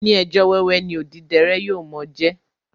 Oní ẹjọ́ wẹ́wẹ́ ni odíderé yóò mo jẹ